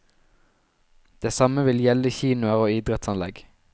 Det samme vil gjelde kinoer og idrettsanlegg.